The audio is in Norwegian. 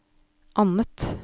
annet